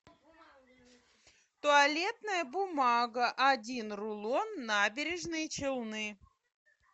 туалетная бумага один рулон набережные челны